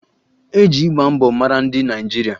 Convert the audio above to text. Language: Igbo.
E ji ịgba mbọ mara ndị Naịjirịa